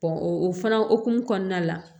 o fana hokumu kɔnɔna la